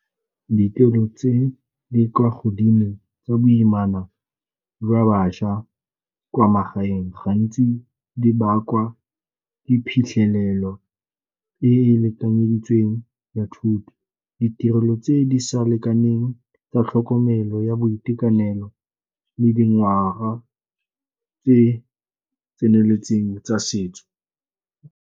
Di tse di kwa godimo tsa boimana jwa batšwa kwa magaeng gantsi di bakwa di phitlhelelo e e lekanyeditsweng ya thuto, ditirelo tse di sa lekaneng tsa tlhokomelo ya boitekanelo le dingwaga tse tseneletseng tsa setso.